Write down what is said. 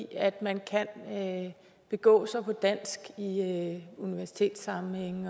at man kan begå sig på dansk i universitetssammenhænge